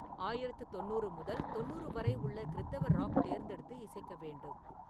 ஆயிரத்து தொண்ணூறு முதல் தொண்ணூறு வரை உள்ள கிறித்தவப் ராக் தேர்ந்தெடுத்து இசைக்க வேண்டும்.